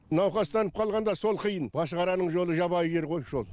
науқастанып қалғанда сол қиын машықараның жолы жабайы жер ғой шол